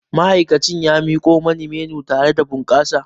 Ma'aikacin ya miko mani menu tare da bunƙasa